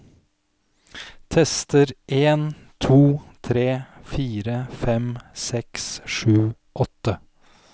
Tester en to tre fire fem seks sju åtte